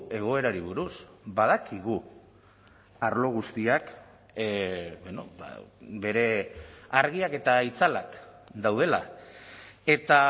egoerari buruz badakigu arlo guztiak bere argiak eta itzalak daudela eta